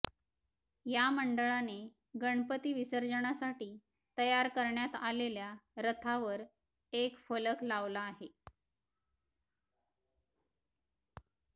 या मंडळाने गणपती विसर्जनासाठी तयार करण्यात आलेल्या रथावर एक फलक लावला आहे